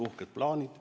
Uhked plaanid.